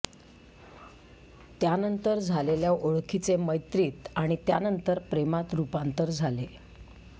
त्यानंतर झालेल्या ओळखीचे मैत्रीत आणि त्यानंतर प्रेमात रुपांतर झाले